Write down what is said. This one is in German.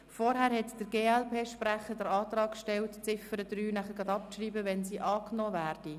Zuvor hat der glp-Sprecher den Antrag gestellt, Ziffer 3 abzuschreiben, sollte diese angenommen werden.